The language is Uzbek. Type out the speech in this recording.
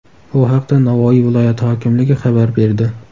Bu haqda Navoiy viloyati hokimligi xabar berdi .